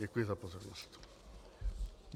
Děkuji za pozornost.